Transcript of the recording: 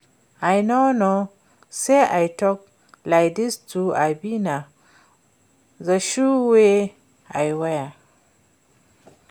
I no know say I tall like dis too abi na the shoe wey I wear